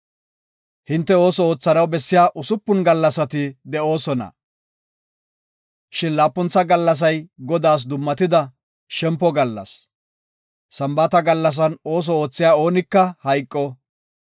Hinte ooso oothanaw bessiya usupun gallasati de7oosona. Shin laapuntha gallasay Godaas dummatida, shempo gallas. Sambaata gallasan ooso oothiya oonika hayqo.